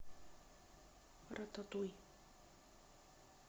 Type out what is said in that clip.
рататуй